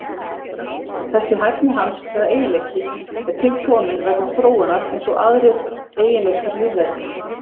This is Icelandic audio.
Þessi hæfni hans eða eiginleiki er til kominn vegna þróunar eins og aðrir eiginleikar lífvera.